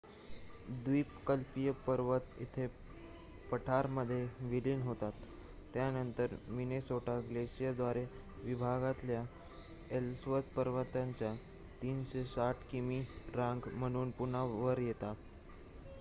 द्वीपकल्पीय पर्वत येथे पठारामध्ये विलीन होतात त्यानंतर मिनेसोटा ग्लेशिअरद्वारे विभागलेल्या एल्सवर्थ पर्वतांच्या ३६० किमी रांग म्हणून पुन्हा वर येतात